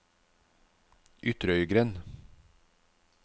Ytrøygrend